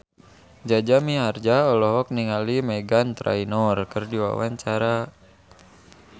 Jaja Mihardja olohok ningali Meghan Trainor keur diwawancara